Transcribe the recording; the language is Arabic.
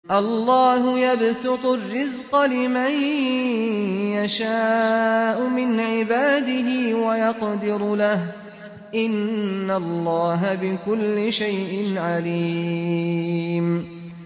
اللَّهُ يَبْسُطُ الرِّزْقَ لِمَن يَشَاءُ مِنْ عِبَادِهِ وَيَقْدِرُ لَهُ ۚ إِنَّ اللَّهَ بِكُلِّ شَيْءٍ عَلِيمٌ